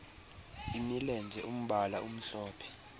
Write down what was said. imilenze umbala omhlophe